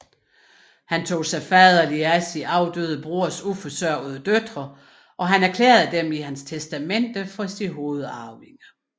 Han tog sig faderligt af sin afdøde broders uforsørgede døtre og erklærede dem i sit testamente for sine hovedarvinger